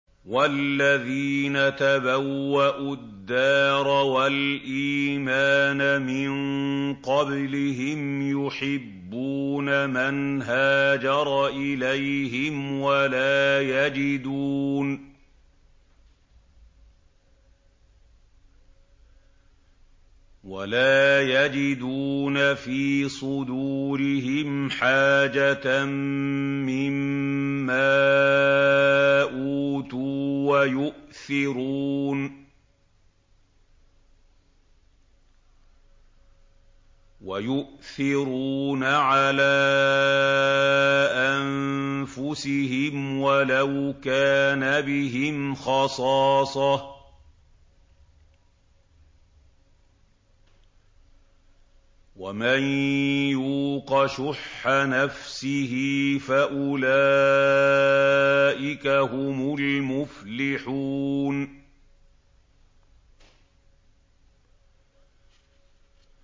وَالَّذِينَ تَبَوَّءُوا الدَّارَ وَالْإِيمَانَ مِن قَبْلِهِمْ يُحِبُّونَ مَنْ هَاجَرَ إِلَيْهِمْ وَلَا يَجِدُونَ فِي صُدُورِهِمْ حَاجَةً مِّمَّا أُوتُوا وَيُؤْثِرُونَ عَلَىٰ أَنفُسِهِمْ وَلَوْ كَانَ بِهِمْ خَصَاصَةٌ ۚ وَمَن يُوقَ شُحَّ نَفْسِهِ فَأُولَٰئِكَ هُمُ الْمُفْلِحُونَ